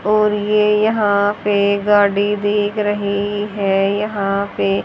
और ये यहाँ पे गाड़ी दिख रही है यहाँ पे--